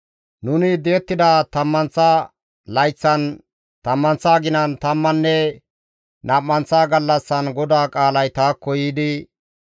Nuni di7ettida tammanththa layththan, tammanththa aginan, tammanne nam7anththa gallassan GODAA qaalay taakko yiidi,